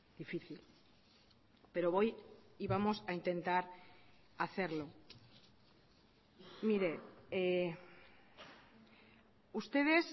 difícil pero voy y vamos a intentar hacerlo mire ustedes